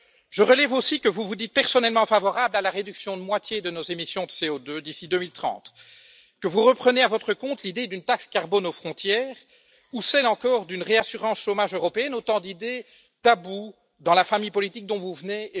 Je relève aussi que vous vous dites personnellement favorable à la réduction de moitié de nos émissions de CO2 d'ici 2030, que vous reprenez à votre compte l'idée d'une taxe carbone aux frontières ou encore celle d'une réassurance chômage européenne, autant d'idées taboues dans la famille politique dont vous venez